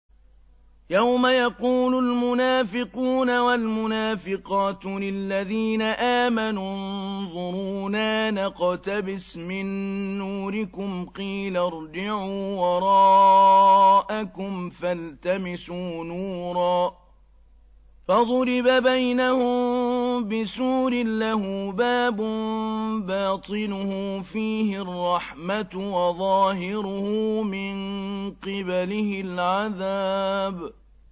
يَوْمَ يَقُولُ الْمُنَافِقُونَ وَالْمُنَافِقَاتُ لِلَّذِينَ آمَنُوا انظُرُونَا نَقْتَبِسْ مِن نُّورِكُمْ قِيلَ ارْجِعُوا وَرَاءَكُمْ فَالْتَمِسُوا نُورًا فَضُرِبَ بَيْنَهُم بِسُورٍ لَّهُ بَابٌ بَاطِنُهُ فِيهِ الرَّحْمَةُ وَظَاهِرُهُ مِن قِبَلِهِ الْعَذَابُ